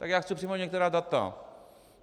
Tak já chci připomenout některá data.